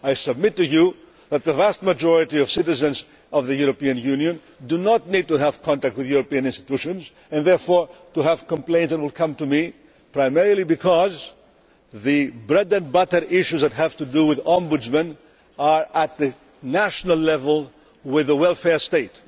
I suggest that the vast majority of citizens of the European Union do not need to have contact with the European institutions and therefore to have complaints that will come to me, primarily because the bread and butter issues that have to do with the Ombudsman are at national level, involving the welfare state.